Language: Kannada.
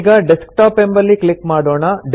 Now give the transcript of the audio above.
ಈಗ ಡೆಸ್ಕ್ಟಾಪ್ ಎಂಬಲ್ಲಿ ಕ್ಲಿಕ್ ಮಾಡೋಣ